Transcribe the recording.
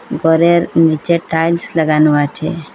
ঘরের নীচে টাইলস লাগানো আছে।